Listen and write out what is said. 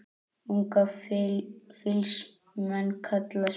Unga fýls menn kalla smið.